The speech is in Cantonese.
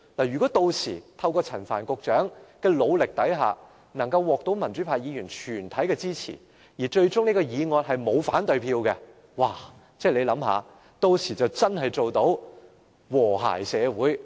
如果屆時透過陳帆局長的努力，政府獲得了民主派全體議員的支持，方案最終沒有人投下反對票，大家試想想，屆時就可以做到真正的和諧社會。